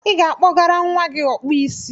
I ga-akpọgara nwa gị Ọkpụisi.